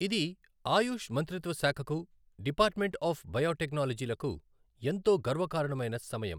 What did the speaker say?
ఇది ఆయుష్ మంత్రిత్వశాఖకు department of biotechnology లకు ఎంతో గర్వకారణమైన సమయం.